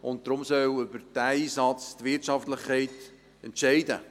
Und darum soll über diesen Einsatz die Wirtschaftlichkeit entscheiden;